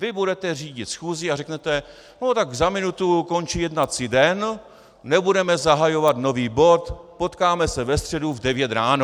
Vy budete řídit schůzi a řeknete "no tak za minutu končí jednací den, nebudeme zahajovat nový bod, potkáme se ve středu v 9 ráno".